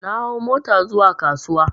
Na hau mota zuwa kasuwa